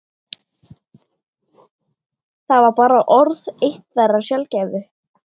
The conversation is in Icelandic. Það var bara orð, eitt þeirra sjaldgæfu.